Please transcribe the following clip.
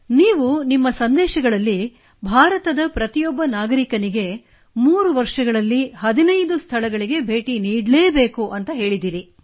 ನೀವು ನಿಮ್ಮ ಸಂದೇಶಗಳಲ್ಲಿ ಭಾರತದ ಪ್ರತಿಯೊಬ್ಬ ನಾಗರಿಕನಿಗೆ 3 ವರ್ಷಗಳಲ್ಲಿ 15 ಸ್ಥಳಗಳಿಗೆ ಭೇಟಿ ನೀಡಲೇಬೇಕು ಎಂದು ಹೇಳಿದ್ದೀರಿ